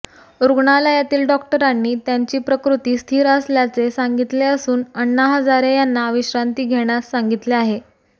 रुग्णालयातील डॉक्टरांनी त्यांची प्रकृती स्थीर असल्याचे सांगितले असून अण्णा हजारे यांना विश्रांती घेण्यास सांगितले आहे